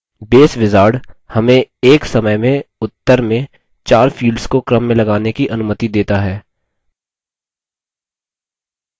base wizard हमें एक समय में उत्तर में 4 fields को क्रम में लगाने की अनुमति देता है